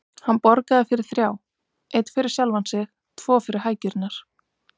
Hann borgaði fyrir þrjá: Einn fyrir sjálfan sig, tvo fyrir hækjurnar.